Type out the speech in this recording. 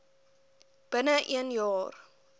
binne een jaar